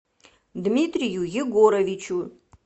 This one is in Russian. дмитрию егоровичу